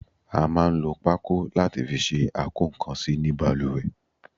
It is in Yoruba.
A máa ń lò pako láti fi ṣe akokansi ní baluwe